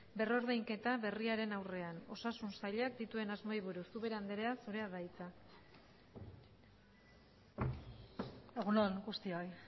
berrordainketa berriaren aurrean osasun sailak dituen asmoei buruz ubera anderea zurea da hitza egun on guztioi